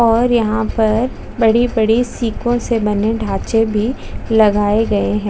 और यहाँ पर बड़ी -बड़ी सीकों से बने ढांचे भी लगाए गए हैं।